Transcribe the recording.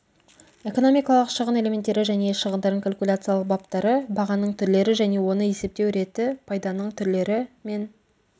экономикалық шығын элементтері және шығындардың калькуляциялық баптары бағаның түрлері және оны есептеу реті пайданың түрлері мен